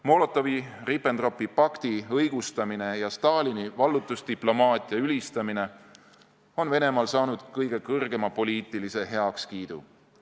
Molotovi-Ribbentropi pakti õigustamine ja Stalini vallutusdiplomaatia ülistamine on Venemaal saanud kõige kõrgema poliitilise heakskiidu.